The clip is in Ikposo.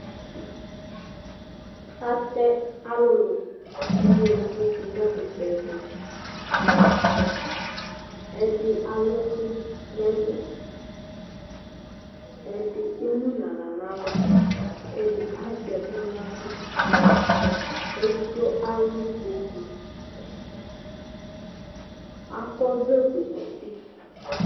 Ata ɔlʋlu ŋu iwovi ɖu ŋu ɛkutɛ tu Ɛɖì alʋ ɛku ŋu ɛlu Ɛɖì emu ŋu aɣla ŋu ava Ɛɖì azɛ ɛku ŋu aɣla Ɛɖigbo alʋ ikpoku Akɔ ɔvlɛ fʋe ŋu ʋti